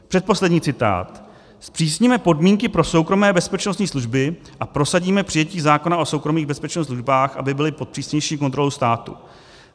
Předposlední citát: "Zpřísníme podmínky pro soukromé bezpečností služby a prosadíme přijetí zákona o soukromých bezpečnostních službách, aby byly pod přísnější kontrolou státu."